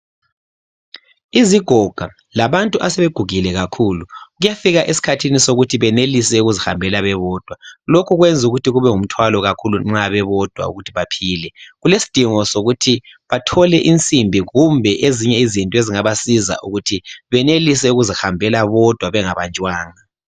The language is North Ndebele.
Izigoga labantu asebegugile kakhulu kuyafika esikhathini sokuthi benelise ukuzihambela bebodwa lokhu kwenza ukuthi kube ngumthwalo kakhulu uma bebodwa ukuthi baphile. Kulesidingo sokuthi bathole insimbi kumbe ezinye zinto ezingabasiza ukuthi benelise ukuzihambela bodwa bengabanjwanga.